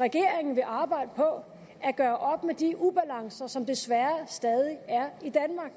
regeringen vil arbejde på at gøre op med de ubalancer som desværre stadig er i danmark